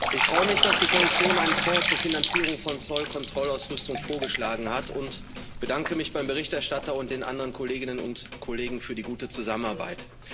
Ich freue mich, dass die Kommission einen Fonds zur Finanzierung von Zollkontrollausrüstung vorgeschlagen hat, und bedanke mich beim Berichterstatter und den anderen Kolleginnen und Kollegen für die gute Zusammenarbeit.